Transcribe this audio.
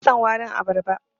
Bana son warin abarba.